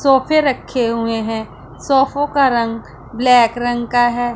सोफे रखे हुए हैं सोफों का रंग ब्लैक रंग का है।